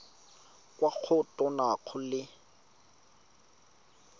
kwa go tona go le